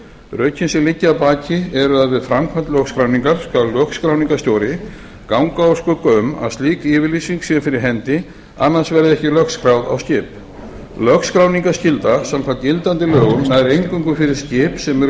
rökin sem liggja að baki eru að við framkvæmd lögskráningar skal lögskráningarstjóri ganga úr skugga um að slík yfirlýsing sé fyrir hendi annars verði ekki lögskráð á skip lögskráningarskylda samkvæmt gildandi lögum nær eingöngu yfir skip sem eru